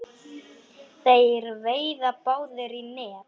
Þeir veiða báðir í net.